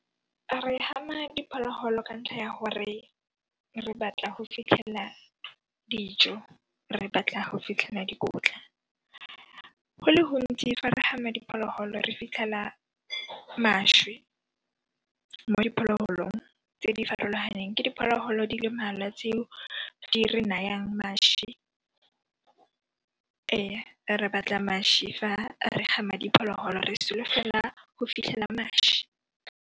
Re gama diphologolo ka ntlha ya gore re batla go fitlhella dijo, re batla go fitlhella dikotla. Go le gontsi fa re gama diphologolo re fitlhela mašwi mo diphologolong tse di farologaneng ke diphologolo di le mmalwa tseo di re nayang maši. Re batla maši fa re gama diphologolo, re solofela go fitlhela maši.